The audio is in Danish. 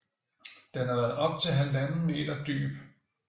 Den har været op til halvanden meter dyb